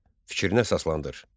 Fikrinə əsaslandır.